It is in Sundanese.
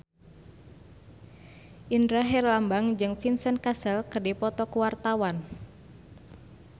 Indra Herlambang jeung Vincent Cassel keur dipoto ku wartawan